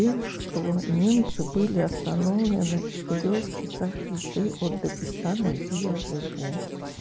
тем что немцы были остановлены в четырёх часах езды от дагестана где я живу